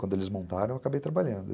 Quando eles montaram, eu acabei trabalhando.